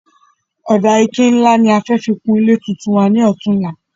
Ọ̀dà ike ní nlá ní a fẹ fi kun ilé tuntun wa ní òtunla